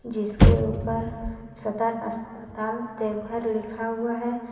जिसके ऊपर सदर अस्पताल देवघर लिखा हुआ है।